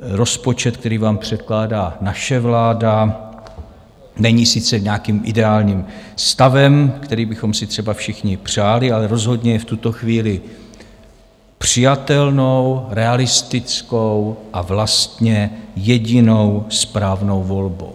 rozpočet, který vám předkládá naše vláda, není sice nějakým ideálním stavem, který bychom si třeba všichni přáli, ale rozhodně je v tuto chvíli přijatelnou, realistickou a vlastně jedinou správnou volbou.